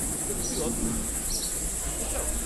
এটা খুবই অদ্ভুত, তুমি কি শুনতে চাও?